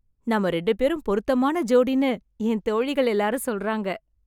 நாம ரெண்டு பேரும் பொருத்தமான ஜோடின்னு என் தோழிகள் எல்லாரும் சொல்றாங்க.